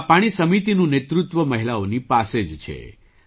આ પાણી સમિતિનું નેતૃત્વ મહિલાઓની પાસે જ છે